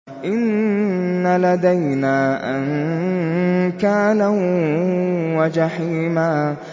إِنَّ لَدَيْنَا أَنكَالًا وَجَحِيمًا